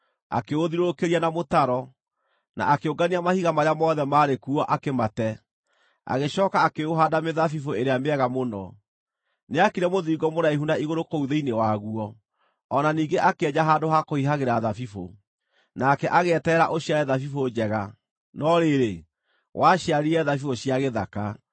Akĩũthiũrũrũkĩria na mũtaro, na akĩũngania mahiga marĩa mothe maarĩ kuo akĩmate, agĩcooka akĩũhaanda mĩthabibũ ĩrĩa mĩega mũno. Nĩaakire mũthiringo mũraihu na igũrũ kũu thĩinĩ waguo, o na ningĩ akĩenja handũ ha kũhihagĩra thabibũ. Nake agĩeterera ũciare thabibũ njega, no rĩrĩ, waciarire thabibũ cia gĩthaka.